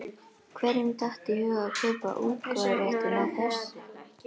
Hverjum datt í hug að kaupa útgáfuréttinn að þessu?